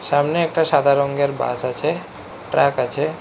সামনে একটা সাদা রঙ্গের বাস আছে ট্রাক আছে।